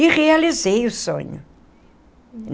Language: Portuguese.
E realizei o sonho.